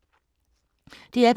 DR P2